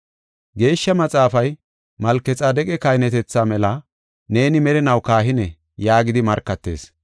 Geeshsha Maxaafay, “Malkexaadeqa kahinetetha mela, neeni merinaw kahine” yaagidi markatees.